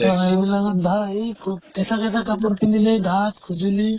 অ আইবিলাকত ভা এই সু কেঁচা কেঁচা কাপোৰ পিন্ধিলে ধাত, খুজলি